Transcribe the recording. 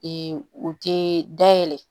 u tɛ dayɛlɛ